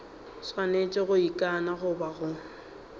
swanetše go ikana goba go